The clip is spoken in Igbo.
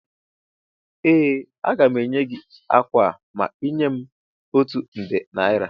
Ee, aga m enye gị ákwà a ma ị nye m otu nde naira